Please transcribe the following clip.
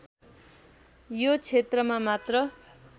यो क्षेत्रमा मात्र